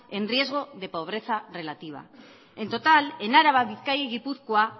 en riesgo de pobreza relativa en total en álava bizkaia y gipuzkoa